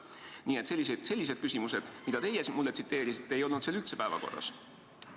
Nii et sellised küsimused, mida teie meile tsiteerisite, ei olnud seal üldse päevakorras.